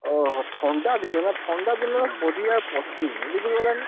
ଓହୋ ଥଣ୍ଡା ଦିନ ନା ଥଣ୍ଡା ଦିନରେ ପରିବା ପଚୁନି, ବୁଝି ପାଇଲ ନା?